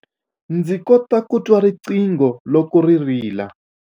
Ndzi kota ku twa riqingho loko ri rila.